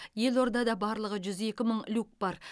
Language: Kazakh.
елордада барлығы жүз екі мың люк бар